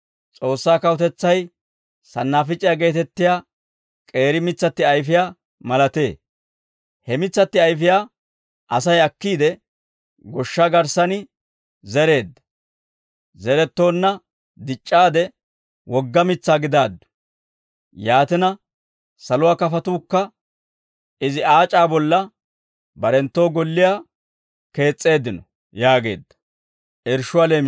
S'oossaa kawutetsay sannaafic'iyaa geetettiyaa k'eeri mitsatti ayfiyaa malatee. He mitsatti ayfiyaa Asay akkiide goshshaa garssan zereedda; zerettoonna dic'c'aade wogga mitsaa gidaaddu; yaatina saluwaa kafatuukka izi aac'aa bolla barenttoo golliyaa kees's'eeddino» yaageedda.